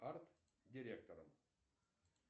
арт директором